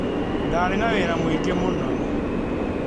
Ndaarĩ na wĩra mũingĩ mũno.